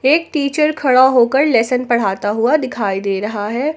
एक टीचर खड़ा होकर लेसन पढ़ाता हुआ दिखाई दे रहा है।